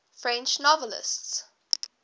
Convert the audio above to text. french novelists